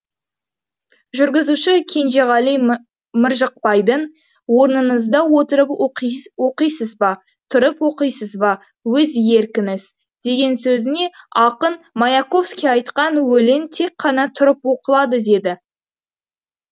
жүргізуші кенжеғали мыржықбайдың орныңызда отырып оқисыз ба тұрып оқисыз ба өз еркіңіз деген сөзіне ақын маяковский айтқан өлең тек қана тұрып оқылады деді